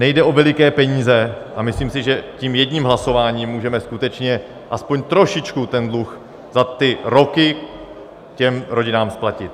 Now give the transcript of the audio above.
Nejde o veliké peníze a myslím si, že tím jedním hlasováním můžeme skutečně aspoň trošičku ten dluh za ty roky těm rodinám splatit.